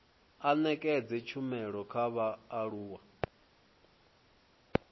a nekedze tshumelo kha vhaaluwa